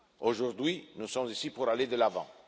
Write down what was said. Aujourd'hui, nous sommes ici pour aller de l'avant.